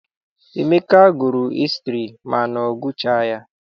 Emeka gụrụ hịstrị mana ọ gụchaghi ya.